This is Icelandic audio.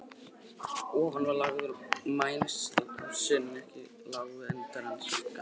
Ofan á þá var lagður mæniásinn, en ekki lágu endar hans á gaflhlöðunum.